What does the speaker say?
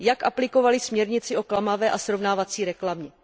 Jak aplikovaly směrnici o klamavé a srovnávací reklamě?